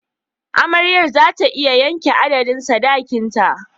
Amaryar za ta iya yanke adadin sadakinta.